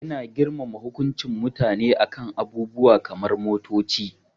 Ina girmama hukuncin mutane a kan abubuwa kamar motoci.